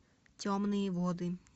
темные воды